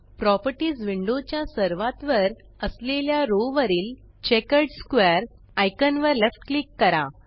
properties window च्या सर्वात वर असलेल्या रो वरील चेकर्ड स्क्वेअर आयकॉन वर लेफ्ट क्लिक करा